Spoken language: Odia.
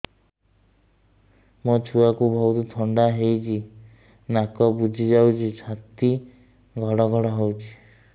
ମୋ ଛୁଆକୁ ବହୁତ ଥଣ୍ଡା ହେଇଚି ନାକ ବୁଜି ଯାଉଛି ଛାତି ଘଡ ଘଡ ହଉଚି